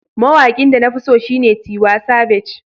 Mawaƙin da na fi so shine Tiwa Savage.